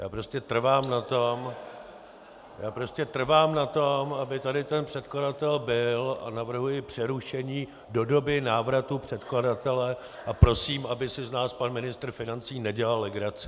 Já prostě trvám na tom, aby tady ten předkladatel byl, a navrhuji přerušení do doby návratu předkladatele a prosím, aby si z nás pan ministr financí nedělal legraci.